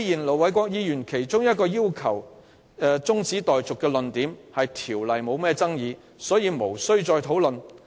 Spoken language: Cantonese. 盧偉國議員動議中止待續議案的論點是《公告》不具爭議性，所以無需再討論。